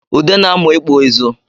Ude na-amụ ịkpụ ịzụ